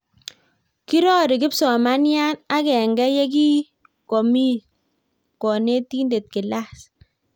Kirori kipsomanian akenge ye ki komii konetinte klas